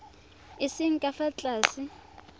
a seng ka fa tlase